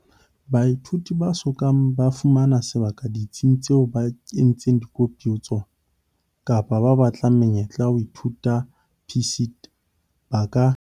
Baithuti ba so kang ba fumana sebaka ditsing tseo ba entseng dikopo ho tsona, kapa ba batlang menyetla ya ho ithuta ya PSET, ba ka